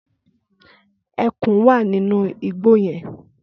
Ẹkùn wà nínú igbó yẹn.